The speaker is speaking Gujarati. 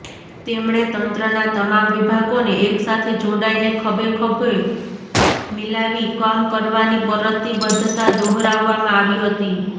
તેમણે તંત્રના તમામ વિભાગોને એકસાથે જોડાઈને ખભે ખભે મિલાવી કામ કરવાની પ્રતિબદ્ધતા દોહરાવવામાં આવી હતી